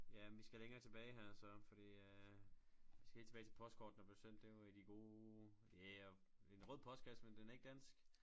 Ja men vi skal længere tilbage her så fordi øh vi skal helt tilbage til postkortene blev sendt det var i de gode en rød postkasse men den er ikke dansk